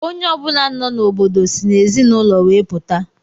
Onye ọ bụla nọ n'obodo si n'ezinụlọ we puta.